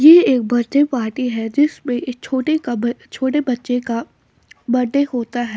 यह एक birthday party है जिसमें छोटे कपड़े छोटे बच्चों का बर्थडे होता है।